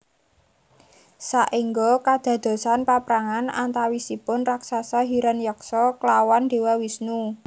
Saéngga kadadosan paprangan antawisipun raksasa Hiranyaksa klawan Déwa Wisnu